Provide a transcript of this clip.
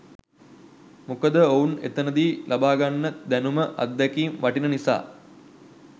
මොකද ඔවුන් එතනදි ලබාගන්න දැනුම අත්දැකීම් වටින නිසා.